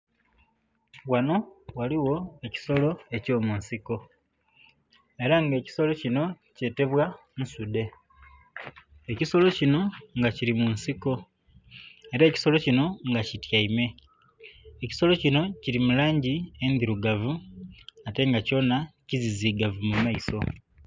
Ghanho ghaligho ekisolo ekyamunsiko era nga ekisolo kinho kyetebwa ensudhe, ekisolo kinho kiri munsiko era ekisolo kinho nga kityaime, ekisolo kinho kiri mulangi edhirugavu ate nga kyonha kizizigavu mumaiso.